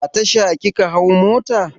A Tasha kika hau mota?